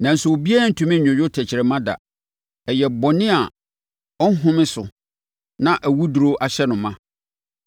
nanso obiara rentumi nnwodwo tɛkrɛma da. Ɛyɛ bɔne a ɔnhome so na awuduro ahyɛ no ma.